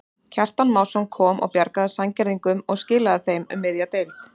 Kjartan Másson kom og bjargaði Sandgerðingum og skilaðu þeim um miðja deild.